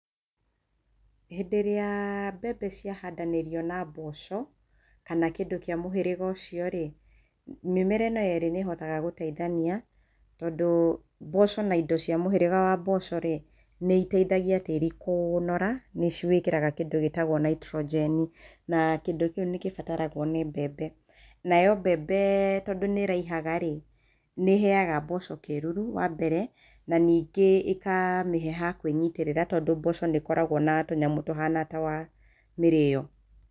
Hĩndĩ ĩrĩa mbembe ciahandanĩrio na mboco kana kĩndũ kĩa mũhĩrĩga ũcio rĩ, mĩmera ĩno ĩrĩ nĩ ĩhotaga gũteithania, tondũ mboco na indo cia mũhĩrĩga wa mboco rĩ, nĩ iteithagia tĩĩri kũnora, nĩ ci wĩkĩraga kĩndũ gĩĩtagwo Nitrogeni, na kĩndũ kĩu nĩ kĩbataragwo nĩ mbembe. Nayo mbembe tondũ nĩ ĩraihaga rĩ, nĩ ĩheaga mboco kĩĩruru wa mbere, na ningĩ ĩkamĩhe ha kwĩnyitĩrĩra tondũ mboco nĩ ĩkoragwo na tũnyamũ tũhana ta twa mĩrĩo.